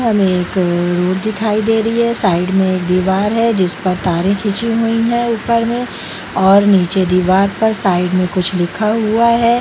हमें एक अ रोड दिखाई दे रही है साइड में एक दीवार है जिस पर तारे खींची हुई हैं ऊपर में और नीचे दीवार पर साइड में कुछ लिखा हुआ है ।